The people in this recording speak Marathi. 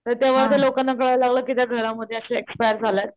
तर तेव्हा त्या लोकांना कळायला लागलं कि त्या घरामध्ये अश्या एक्सपायर झाल्यात,